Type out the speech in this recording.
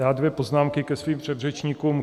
Já dvě poznámky ke svým předřečníkům.